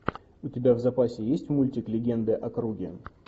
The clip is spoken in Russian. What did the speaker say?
у тебя в запасе есть мультик легенды о круге